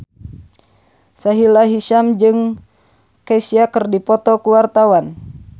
Sahila Hisyam jeung Kesha keur dipoto ku wartawan